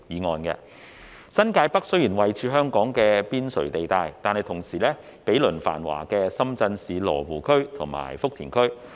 雖然新界北位處香港邊陲地帶，但同時毗鄰繁華的深圳市羅湖區和福田區。